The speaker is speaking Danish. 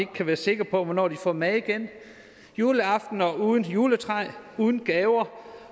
kan være sikker på hvornår de får mad igen juleaftener uden juletræ uden gaver